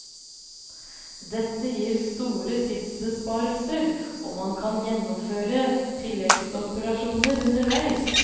Dette gir store tidsbesparelser, og man kan gjennomføre tilleggsoperasjoner underveis.